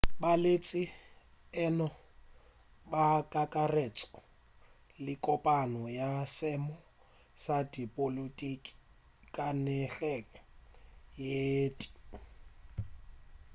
baeletši e no ba kakaretšo ye kopana ya seemo sa dipolotiki ka nageng ye tee